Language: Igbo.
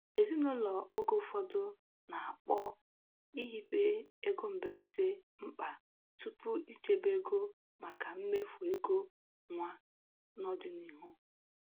Ezinụlọ oge ụfọdụ na-akpọ ihibe ego mberede mkpa tupu ichebe ego maka mmefu ego nwa n'ọdịnihu.